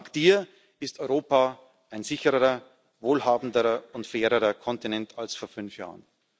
Dank Dir ist Europa ein sichererer, wohlhabenderer und fairerer Kontinent als vor fünf Jahren.